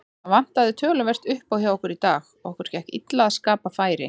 Það vantaði töluvert uppá hjá okkur í dag, okkur gekk illa að skapa færi.